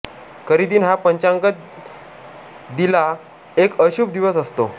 करिदिन हा पंचांगात दिेला एक अशुभ दिवस असतो